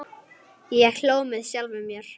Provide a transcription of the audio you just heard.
Ég hló með sjálfum mér.